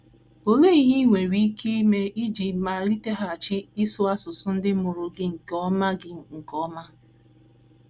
Olee ihe i nwere ike ime iji maliteghachi ịsụ asụsụ ndị mụrụ gị nke ọma gị nke ọma?